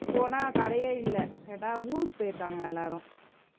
போனா கடையே இல்லை கேட்டா ஊருக்கு போயிருக்காங்கலாம் எல்லாரும்